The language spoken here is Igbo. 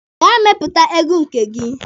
Gaa mepụta egwu nke gị!